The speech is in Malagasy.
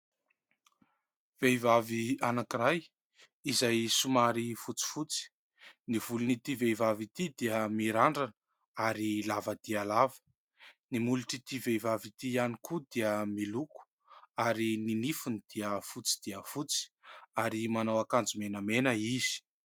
Vehivavy anankiray izay somary fotsifotsy. Ny volon'ity vehivavy ity dia mirandrana ary lava dia lava. Ny molotr'ity vehivavy ity ihany koa dia miloko ary ny nifiny dia fotsy dia fotsy ary manao akanjo menamena izy.